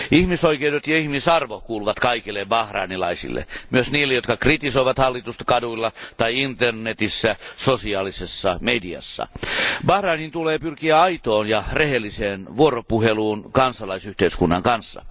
Ilmisoikeudet ja ihmisarvo kuuluvat kaikille bahrainilaisille, myös niille, jotka kritisoivat hallitusta kaduilla tai internetissä ja sosiaalisessa mediassa. Bahrainin tulee pyrkiä aitoon ja rehelliseen vuoropuheluun kansalaisyhteiskunnan kanssa.